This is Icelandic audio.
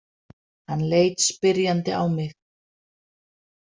Hann leit spyrjandi á mig.